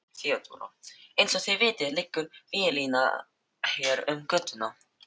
THEODÓRA: Eins og þið vitið liggur víglína hér um götuna.